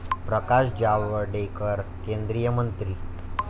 प्रकाश जावडेकर, केंद्रीय मंत्री